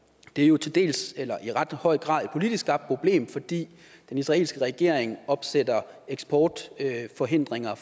det er jo til dels eller i ret høj grad et politisk skabt problem fordi den israelske regering opsætter eksportforhindringer